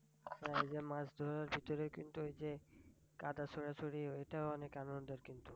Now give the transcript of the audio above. এই যে মাছ ধরার ভিতরে কিন্তু ওই যে কাদা ছুড়াছুঁড়ি ঐটাও অনেক আনন্দের কিন্তু।